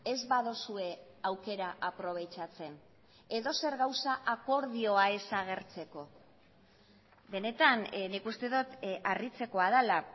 ez baduzue aukera aprobetxatzen edozer gauza akordioa ez agertzeko benetan nik uste dut harritzekoa dela